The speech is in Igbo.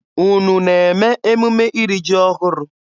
Unu na-eme emume iri ji ọhụrụ?